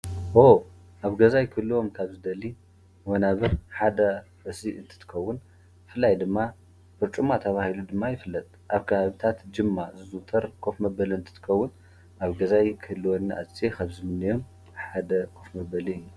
ዎዎ ኣብ ገዛይ ክህልዉ ካብ ዝደሊ ወናብር ሓደ እዚ እንትኮዉን ብፍላይ ድማ ዉጭማ ተባሂሉ ዝፍለጥ ኣብ ከባቢታት ጅማ ዝዝዉተር ኮፍ መበሊ እንትኮዉን ኣብ ገዛይ ንክህልወኒ ኣዝየ ካብ ዝምነዮን ሓደ ኮፍ መበሊ እዩ።